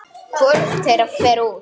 Hvorugt þeirra fer út.